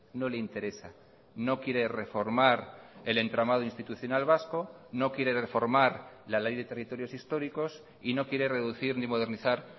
no le interesa no quiere reformar el entramado institucional vasco no quiere reformar la ley de territorios históricos y no quiere reducir ni modernizar